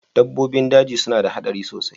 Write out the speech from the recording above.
Dabbobin daji suna da haɗari sosai